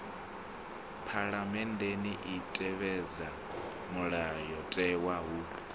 phaḽamennde i tevhedza mulayotewa hu